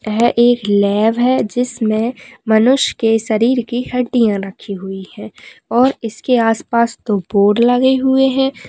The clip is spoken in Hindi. यह एक लेब है जिसमें मनुष्य के शरीर की हड्डियाँ रखी हुई हैं और इसके आस-पास दो बोर्ड लगे हुए हैं।